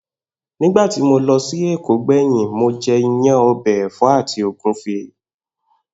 Nígbà tí mo lo̩ sí Èkó gbè̩yìn, mo je̩ iyán, o̩bè̩ è̩fó̩ àti ògúnfe